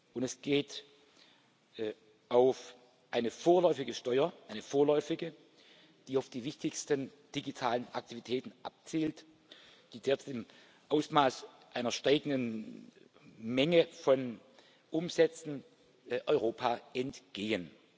Und es geht um eine vorläufige Steuer eine vorläufige die auf die wichtigsten digitalen Aktivitäten abzielt, die derzeit im Ausmaß einer steigenden Menge von Umsätzen Europa entgehen.